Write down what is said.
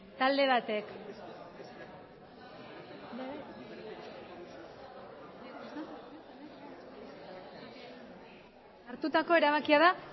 talde batek hartutako erabakia da